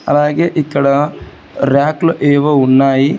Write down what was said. అలాగే ఇక్కడ రాకుల్ ఏవో ఉన్నాయి.